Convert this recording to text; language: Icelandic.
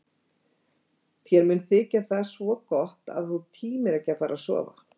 Þér mun þykja það svo gott að þú tímir ekki að fara að sofa.